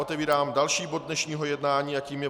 Otevírám další bod dnešního jednání a tím je